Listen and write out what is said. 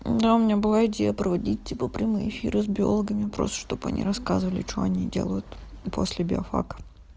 да у меня была идея проводить типа прямые эфиры с биологами просто чтоб они рассказывали что они делают после биофака